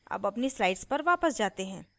अब अपनी slides पर वापस जाते हैं